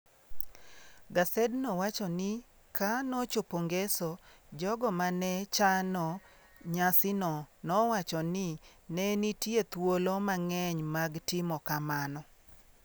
Gasedno wacho ni ka nochopo Ngeso, jogo ma ne chano nyasino nowacho ni ne nitie thuolo mang'eny mag timo kamano.